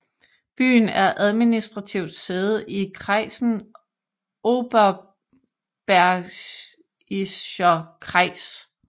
Byen er administrativt sæde i kreisen Oberbergischer Kreis